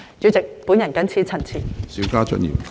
主席，我謹此陳辭。